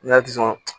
N y'a